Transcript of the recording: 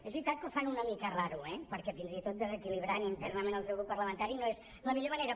és veritat que ho fan una mica rar eh perquè fins i tot desequilibrant internament el seu grup parlamentari no és la millor manera